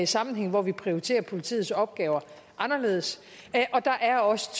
sammenhænge hvor vi prioriterer politiets opgaver anderledes og der er også